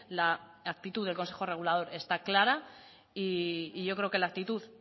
la actitud del consejo regulador está clara y yo creo que la actitud